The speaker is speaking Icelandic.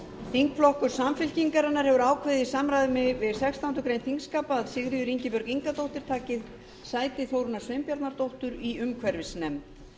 þingflokkur samfylkingarinnar hefur ákveðið í samræmi við sextándu grein þingskapa að sigríður ingibjörg ingadóttir taki sæti þórunnar sveinbjarnardóttur í umhverfisnefnd